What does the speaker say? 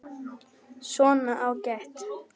Svona, ágætt.